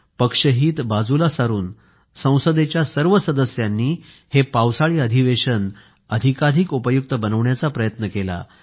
पक्षहित बाजूला सारून संसदेच्या सर्व सदस्यांनी हे पावसाळी अधिवेशन अधिकाधिक उपयुक्त बनवण्याचा प्रयत्न केला